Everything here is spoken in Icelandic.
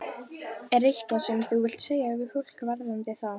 Er eitthvað sem þú vilt segja við fólk varðandi þá?